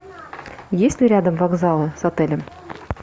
есть ли рядом вокзалы с отелем